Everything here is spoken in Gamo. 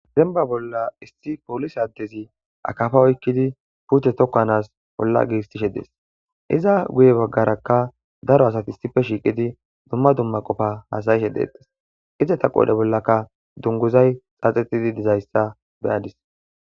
Demba bolla issi polise adezi akafa oykid puute tokanasi olla giigisishe Des,iza guye bagaraka dark asati issi ppe shiiqidi dumma dumma Qopa hasa'ishe detes, izeta qodhe bollaka dunguzay xaaxetidi dizaysa beyadisi.